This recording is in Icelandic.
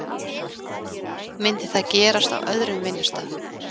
Myndi það gerast á öðrum vinnustað?